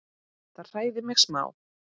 Það hræðir mig smá.